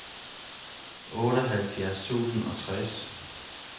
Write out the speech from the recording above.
otteoghalvfjerds tusind og tres